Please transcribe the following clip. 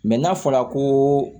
n'a fɔla ko